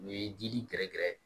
U ye dili gɛrɛgɛrɛ